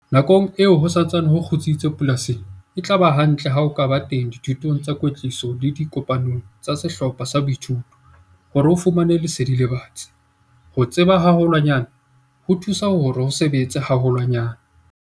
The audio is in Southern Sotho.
Nakong eo ho sa ntseng ho kgutsitse polasing, e tla ba hantle ha o ka ba teng dithutong tsa kwetliso le dikopanong tsa sehlopha sa boithuto hore o fumane lesedi le batsi - ho tseba haholwanyane ho thusa hore o sebetse haholwanyane!